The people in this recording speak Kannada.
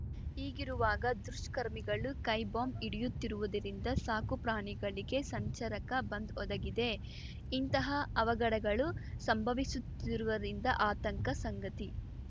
ಹೀಗಿರುವಾಗ ದುಷ್ಕರ್ಮಿಗಳು ಕೈ ಬಾಂಬ್‌ ಇಡಿಯುತ್ತಿರುವುದರಿಂದ ಸಾಕು ಪ್ರಾಣಿಗಳಿಗೆ ಸಂಚರಕ ಬಂದ್ ಒದಗಿದೆ ಇಂತಹ ಅವಘಡಗಳು ಸಂಭವಿಸುತ್ತಿರುವುದರಿಂದ ಆತಂಕ ಸಂಗತಿ